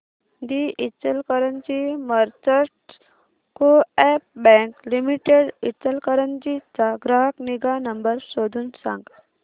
दि Ichalkaranji merchants co-op bank limited Ichalkaranji चा ग्राहक निगा नंबर शोधून सांग